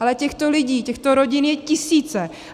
Ale těchto lidí, těchto rodin jsou tisíce.